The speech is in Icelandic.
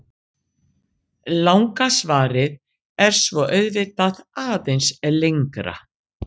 Langa svarið er svo auðvitað aðeins lengra.